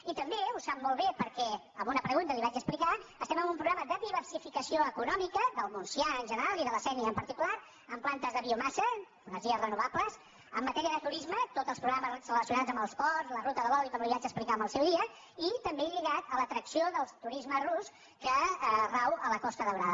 i també ho sap molt bé perquè en una pregunta li ho vaig ex·plicar estem en un programa de diversificació eco·nòmica del montsià en general i de la sénia en parti·cular amb plantes de biomassa energies renovables en matèria de turisme tots els programes relacionats amb els ports la ruta de l’oli com li vaig explicar en el seu dia i també lligat a l’atracció del turisme rus que rau a la costa daurada